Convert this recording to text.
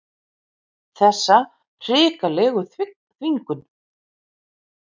Þessa hrikalegu þvingun.